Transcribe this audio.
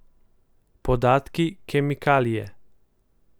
Podatki, kemikalije.